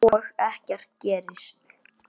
Magnús Ólason.